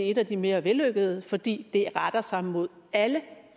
et af de mere vellykkede forslag fordi det retter sig mod alle